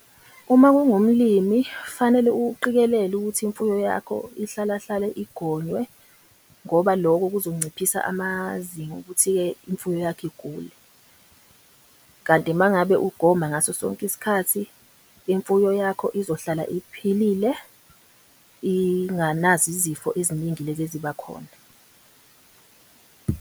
Uma ungumlimi fanele uqikelele ukuthi imfuyo yakho ihlala hlale igonywe ngoba loko kuzonciphisa amazinga okuthi-ke imfuyo yakho igule. Kanti uma ngabe ugoma ngaso sonke isikhathi imfuyo yakho izohlala iphilile, Inganazo izifo eziningi lezi eziba khona.